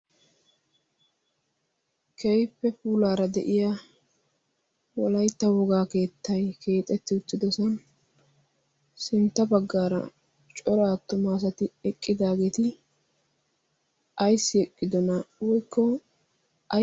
Keehippe puulaara de'iya wolaytta wogaa keettayi keexetti uttidosan sintta baggaara cora attuma asati eqqidaageeti ayssi eqqidonaa giikko...